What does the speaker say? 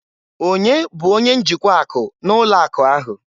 Onye bụ onye njikwa akụ na ụlọ akụ ahụ?